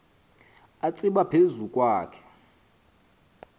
atsiba phezu kwakhe